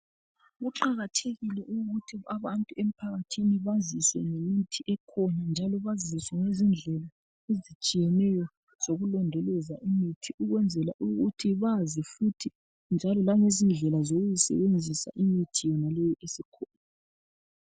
Kuqakathekile ukuthi abantu émphakathini baziswe ngemithi ekhona njalo baziswe ngezindlela ezitshiyeneyo zokulondoloza imithi ukwenzela ukuthi bazi futhi njalo ngezindlela yokuyisebenzisa yonaleyi imithi esikhona.